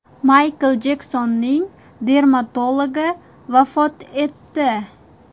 Maykl Jeksonning dermatologi vafot etdi.